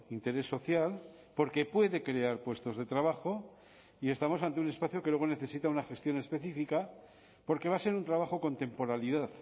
interés social porque puede crear puestos de trabajo y estamos ante un espacio que luego necesita una gestión específica porque va a ser un trabajo con temporalidad